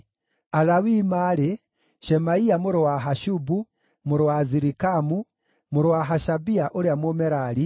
Alawii maarĩ: Shemaia mũrũ wa Hashubu, mũrũ wa Azirikamu, mũrũ wa Hashabia ũrĩa Mũmerari,